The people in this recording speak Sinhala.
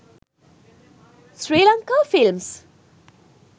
sri lanka films